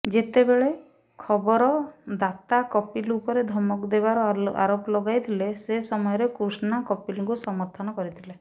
ଯେତେବେଳେ ଖବରଦାତା କପିଲ ଉପରେ ଧମକ ଦେବାର ଆରୋପ ଲଗାଇଥିଲେ ସେ ସମୟରେ କୃଷ୍ଣା କପିଲଙ୍କୁ ସମର୍ଥନ କରିଥିଲେ